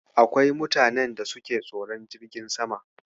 Akwai mutanen da suke tsoron jirgin sama.